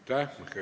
Küsimusi ei ole.